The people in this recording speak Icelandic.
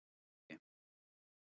Eiði